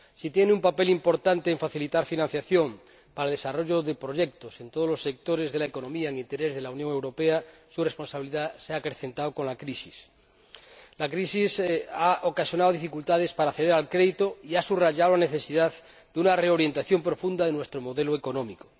Si tiene un papel importante en facilitar financiación al desarrollo de proyectos en todos los sectores de la economía, en interés de la Unión Europea, su responsabilidad se ha acrecentado con la crisis. La crisis ha ocasionado dificultades para acceder al crédito y ha subrayado la necesidad de una reorientación profunda de nuestro modelo económico.